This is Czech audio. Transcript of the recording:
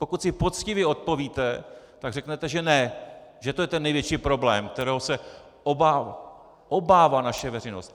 Pokud si poctivě odpovíte, tak řeknete že ne, že to je ten největší problém, kterého se obává naše veřejnost.